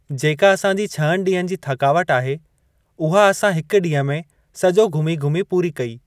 जेका असांजी छहनि ॾींहनि जी थकावट आहे उहा असां हिक ॾींहुं में सॼो घूमी घूमी पूरी कई।